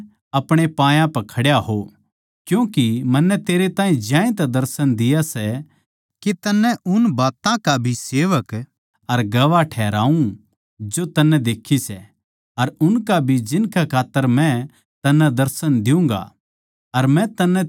पर तू उठ अपणे पायां पै खड्या हो क्यूँके मन्नै तेरै ताहीं ज्यांतै दर्शन दिया सै के तन्नै उन बात्तां का भी सेवक अर गवाह ठहराऊँ जो तन्नै देक्खी सै अर उनका भी जिनकै खात्तर मै तन्नै दर्शन द्यूँगा